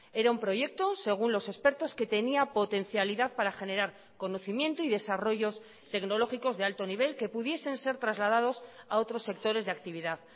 era un proyecto según los expertos que tenía potencialidad para generar conocimiento y desarrollos tecnológicos de alto nivel que pudiesen ser trasladados a otros sectores de actividad